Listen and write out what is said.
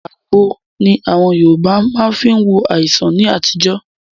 Àgbo ní àwọn Yorùbá má fí ń wo àìsàn ní àtijọ́.